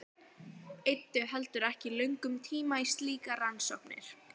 Eyddu heldur ekki löngum tíma í slíkar rannsóknir.